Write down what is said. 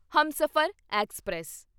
Humsafar express